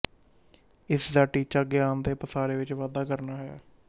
ਇਸਦਾ ਟੀਚਾ ਗਿਆਨ ਦੇ ਪਸਾਰੇ ਵਿੱਚ ਵਾਧਾ ਕਰਨਾ ਹੈ